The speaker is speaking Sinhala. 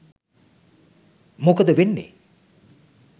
මොකද වෙන්නේ.